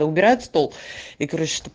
выбирает стол и короче